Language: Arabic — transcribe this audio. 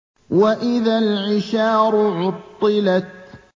وَإِذَا الْعِشَارُ عُطِّلَتْ